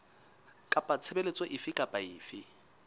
kapa tshebeletso efe kapa efe